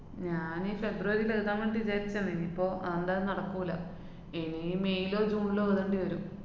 ഞാനീ ഫെബ്രുവരീല് എഴുതാന്‍വേണ്ടി വിചാരിച്ചേണ്. ഇനിയിപ്പൊ അതെന്താലും നടക്കൂല്ല. ഇനി മേയിലോ ജൂണിലോ എയ്തേണ്ടി വരും.